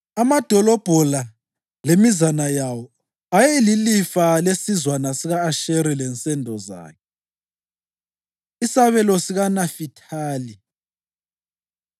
Amadolobho la lemizana yawo ayeyilifa lesizwana sika-Asheri lensendo zakhe. Isabelo SikaNafithali